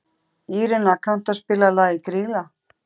Írena, kanntu að spila lagið „Grýla“?